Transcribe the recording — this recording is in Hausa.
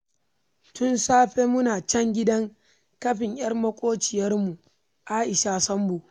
Tun safe muna can gidan kafin 'yar maƙwabciyarmu Aisha Sambo